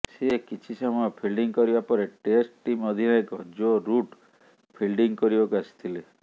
ସେ କିଛି ସମୟ ଫିଲ୍ଡିଂ କରିବା ପରେ ଟେଷ୍ଟ ଟିମ୍ ଅଧିନାୟକ ଜୋ ରୁଟ୍ ଫିଲ୍ଡିଂ କରିବାକୁ ଆସିଥିଲେ